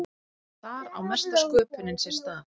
þar á mesta sköpunin sér stað